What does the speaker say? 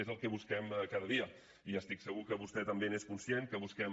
és el que busquem cada dia i estic segur que vostè també n’és conscient que el busquem